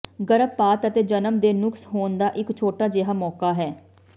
ਗਰਭਪਾਤ ਅਤੇ ਜਨਮ ਦੇ ਨੁਕਸ ਹੋਣ ਦਾ ਇੱਕ ਛੋਟਾ ਜਿਹਾ ਮੌਕਾ ਹੈ